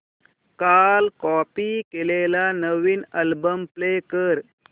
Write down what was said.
काल कॉपी केलेला नवीन अल्बम प्ले कर